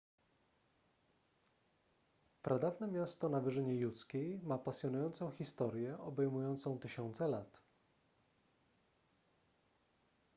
pradawne miasto na wyżynie judzkiej ma pasjonującą historię obejmującą tysiące lat